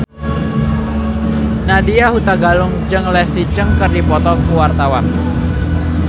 Nadya Hutagalung jeung Leslie Cheung keur dipoto ku wartawan